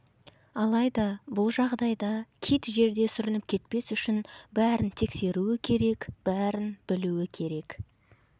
алайда бұл жағдайда кит жерде сүрініп кетпес үшін бәрін тексеруі керек бәрін білуі керек